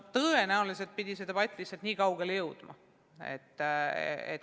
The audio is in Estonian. Tõenäoliselt pidi see debatt nii kaugele jõudma.